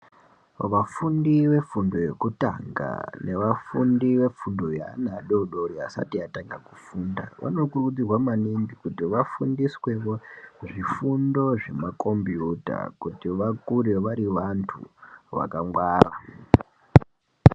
Vafundi vefundo yekutanga nevafundi vefundo yeana adodori vasati vatanga kufunda vanokurudzirwa maningi kuti vafundiswewo zvifundo zvemakombiyuta kuti vakure vari vantu vakangwara.